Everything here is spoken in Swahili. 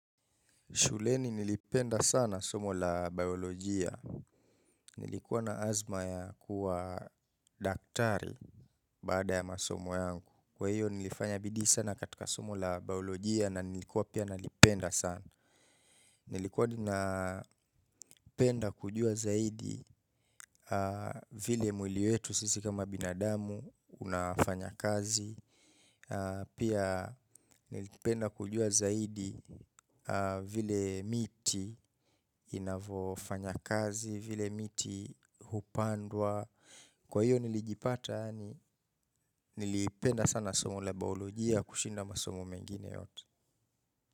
Shuleni nilipenda sana somo la biolojia. Nilikuwa na azma ya kuwa daktari baada ya masomo yangu. Kwa hiyo nilifanya bidii sana katika somo la biolojia na nilikuwa pia nalipenda sana. Nilikuwa adi na penda kujua zaidi vile mwili wetu sisi kama binadamu unafanya kazi pia nilipenda kujua zaidi vile miti inavyofanya kazi vile miti hupandwa kwa hiyo nilijipata ani nilipenda sana somo la biolojia kushinda masomo mengine yote.